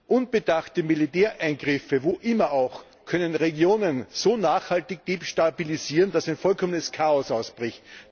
Unbedachte Militäreingriffe, wo auch immer, können Regionen so nachhaltig destabilisieren, dass ein vollkommenes Chaos ausbricht.